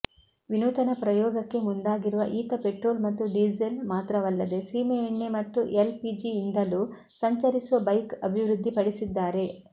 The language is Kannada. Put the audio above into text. ವಿನೂತನ ಪ್ರಯೋಗಕ್ಕೆ ಮುಂದಾಗಿರುವ ಈತ ಪೆಟ್ರೋಲ್ ಮತ್ತು ಡೀಸೆಲ್ ಮಾತ್ರವಲ್ಲದೆ ಸೀಮೆಎಣ್ಣೆ ಮತ್ತು ಎಲ್ ಪಿಜಿಯಿಂದಲೂ ಸಂಚರಿಸುವ ಬೈಕ್ ಅಭಿವೃದ್ಧಿಪಡಿಸಿದ್ದಾರೆ